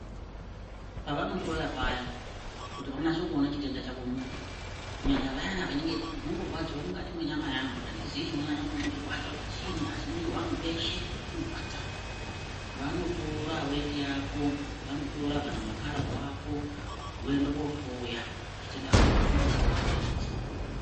Pavano hloya paya kuti vanase kuona chitenda chako muntu kunyanya vayana vanenge veyiti ndinondo rwadzirwa mukati mwe nyama yangu andizi chino nyanya kundirwadza chiinyi asi mwiri wangu weshe uno rwadza vanotora weti yako vano tora kana ma kararwa ako voende ko hloya chitenda chinoto onekwa chete.